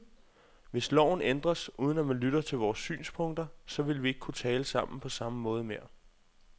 Hvis loven ændres, uden at man lytter til vores synspunkter, så vil vi ikke kunne tale sammen på samme måde mere.